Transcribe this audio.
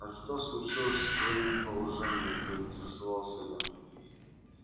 а что случилось с твоим положением поинтересовался я